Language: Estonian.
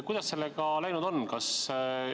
Kuidas sellega läinud on?